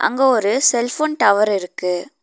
அங்க ஒரு cell phone tower இருக்கு.